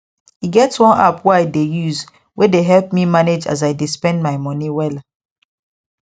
e get one app wey i dey use wey dey help me manage as i dey spend my money wella